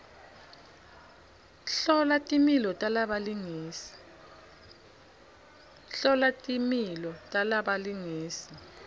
hlola timilo talabalingisi